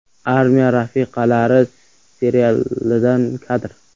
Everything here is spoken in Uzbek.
“Armiya rafiqalari” serialidan kadr.